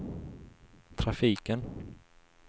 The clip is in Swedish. trafiken